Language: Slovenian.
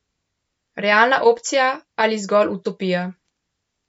Realna opcija ali zgolj utopija?